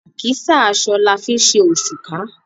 Àkísà aṣọ la fi ńṣe òṣùká.